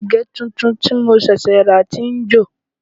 Àgè tuntun tí mo ṣẹ̀ṣẹ̀ rà ti ń jò